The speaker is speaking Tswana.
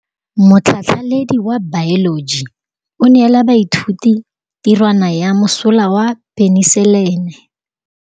Motlhatlhaledi wa baeloji o neela baithuti tirwana ya mosola wa peniselene.